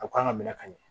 A kan ka minɛ ka ɲɛ